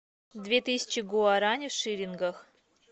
две тысячи гуарани в шиллингах